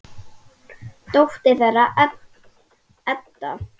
Dóttir þeirra er Edda.